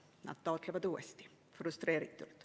Nad taotlevad uuesti, frustreeritult.